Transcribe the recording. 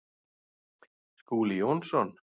Skúli Jónsson